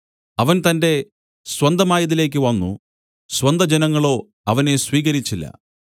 അവൻ തന്റെ സ്വന്തമായതിലേക്ക് വന്നു സ്വന്തജനങ്ങളോ അവനെ സ്വീകരിച്ചില്ല